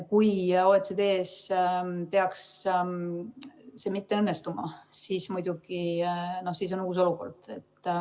Kui OECD‑s peaks see mitte õnnestuma, siis muidugi on uus olukord.